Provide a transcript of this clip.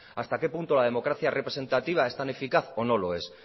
hasta qué punto la democracia representativa es tan eficaz o no lo es